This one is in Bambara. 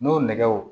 N'o nɛgɛw